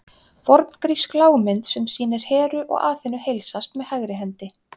Forngrísk lágmynd sem sýnir Heru og Aþenu heilsast með hægri hendi.